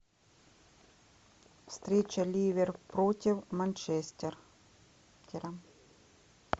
встреча ливер против манчестера